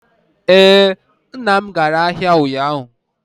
Ee, nna m gara ahịa ụnyaahụ.